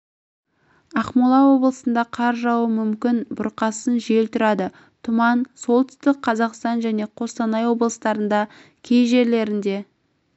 ақмола облысында қар жаууы мүмкін бұрқасын жел тұрады тұман солтүстік қазақстан және қостанай облыстарында кей жерлерде